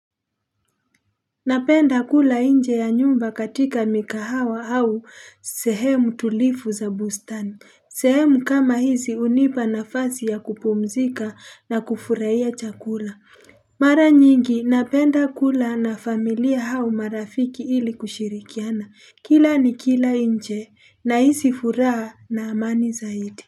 Napenda kula inje ya nyumba katika mikahawa au sehemu tulifu za bustani sehemu kama hizi unipa nafasi ya kupumzika na kufurahia chakula Mara nyingi napenda kula na familia hau marafiki ili kushirikiana Kila nikila inje na hisi furaha na amani zaidi.